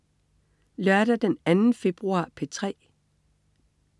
Lørdag den 2. februar - P3: